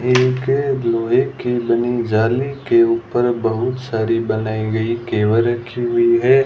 एक लोहे के बनी जाली के ऊपर बहुत सारी बनाई गई केवल रखी हुई है।